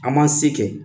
An m'an se kɛ